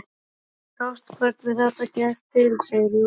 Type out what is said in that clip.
Þú sást hvernig þetta gekk til, segir Júlía.